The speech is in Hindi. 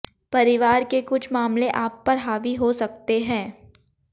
परिवार के कुछ मामले आप पर हावी हो सकते हैं